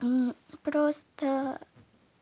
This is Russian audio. просто